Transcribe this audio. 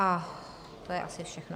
A to je asi všechno.